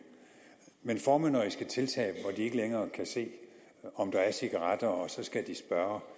men formynderiske tiltag virkelig hvor de ikke længere kan se om der er cigaretter og skal spørge